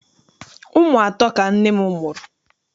Ụmụ atọ ka nne m mụrụ.